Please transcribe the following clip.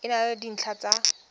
e na le dintlha tsa